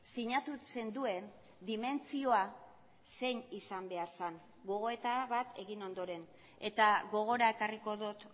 sinatu zenduen dimentsioa zein izan behar zen gogoeta bat egin ondoren eta gogora ekarriko dut